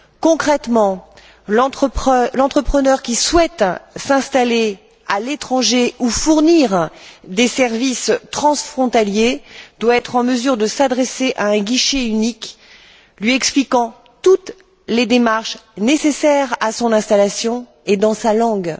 Concrètement, l'entrepreneur qui souhaite s'installer à l'étranger ou fournir des services transfrontaliers doit être en mesure de s'adresser à un guichet unique lui expliquant toutes les démarches nécessaires à son installation et dans sa langue.